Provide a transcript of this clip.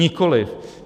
Nikoliv.